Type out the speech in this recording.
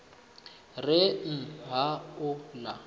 re n ha u ḽa